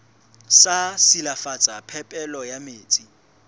sa silafatsa phepelo ya metsi